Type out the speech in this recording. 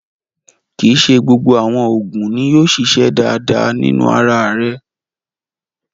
Kí ì ṣé gbogbo awọn oogun, ní yóò ṣiṣẹ̀ dáadáa nínu ara rè